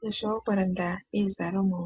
nosho wo okulanda iizalomwa.